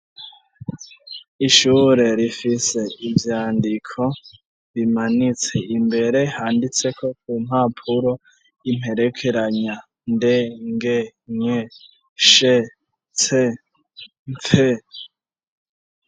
Ishure rifise ivyandiko bimanitse imbere handitseko ku mpapuro imperekeranya "nde-nge-nye-she-tse-mpfe".